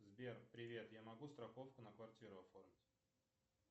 сбер привет я могу страховку на квартиру оформить